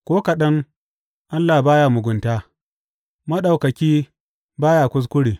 Ko kaɗan Allah ba ya mugunta, Maɗaukaki ba ya kuskure.